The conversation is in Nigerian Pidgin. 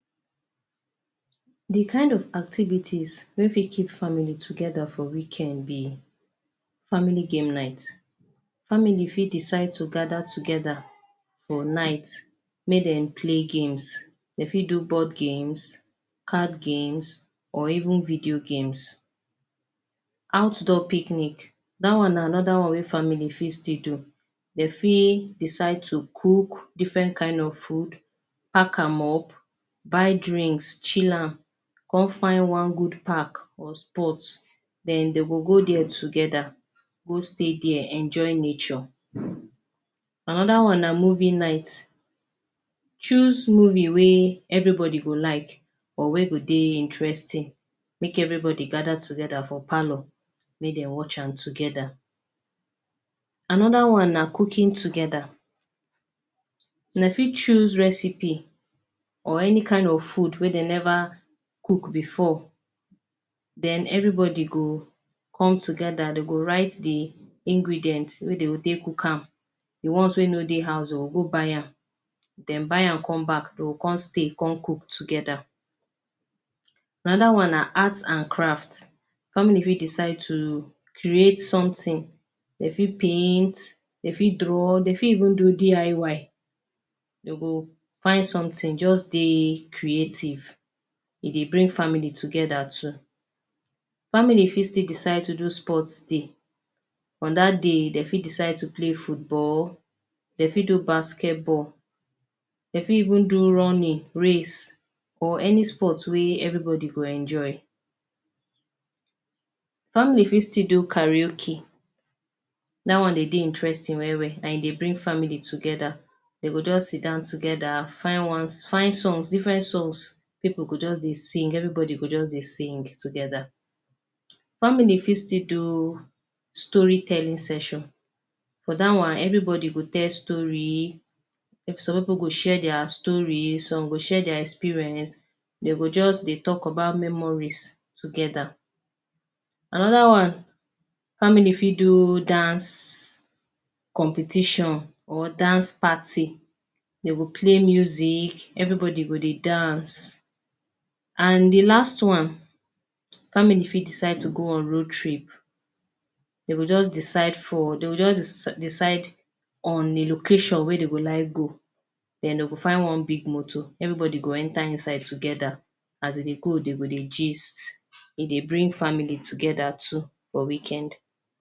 The kind of activities wey fit keep family together for weekend be family game night. Family fit decide to gather together for night make dem play games dey fit do board games, card games or even video games. Outdoor picnic- dat one na another one wey famil fit still do dey fit decide to cook different kind of food, park am up, buy drinks chill am come find one good park or spot. Then dey go go dia together go stay dia enjoy nature. Another one na movie night- choose movie wey everybody go like or wey go dey interesting make everybody gather together for parlour make dem watch am together. Another one na cooking together- dey fit choose recipe or any kind of food wey dey never cook before. Then everybody go come together dey go write dey ingredients wey dey go take cook am, dey ones wey no dey house or go buy am then buy am come back dey go come stay come cook together. Another one na arts and craft- family fit decide to create something dey fit paint, dey fit draw dey fit even even do DIY, dey go find something just dey creative e dey bring family together too. Family fit still decide to do sports day- on dat day dey fit decide to play football, dey fit do basketball, dey fit even do running, race or any sport wey everybody go enjoy. Family fit still do karaoke dat one dey dey interesting well well and e dey bring family together dey go just sidon together find songs different songs pipul go just dey sing everybody go just dey sing together. Family fit still do story-telling section for dat one everybody go tell story, some pipul go share dia story, some go share dia experience dey go just dey talk about memories together. Another one family fit do dance competition or dance party dey go play music everybody go dey dance and dey last one family fit decide to go on road trip dey go just decide for dey go just decide on a location wey dey go like go then dey go find one big motor everybody go enter inside together as dey dey go dey go dey gist e dey bring family together too for weekend.